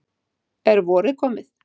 Er vorið komið?